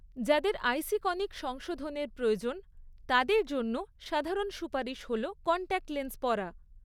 যাদের আইসিকনিক সংশোধনের প্রয়োজন তাদের জন্য সাধারণ সুপারিশ হল কন্টাক্ট লেন্স পরা।